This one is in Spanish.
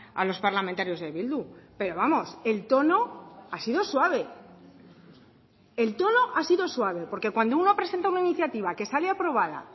a los parlamentarios de bildu pero vamos el tono ha sido suave el tono ha sido suave porque cuando uno presenta una iniciativa que sale aprobada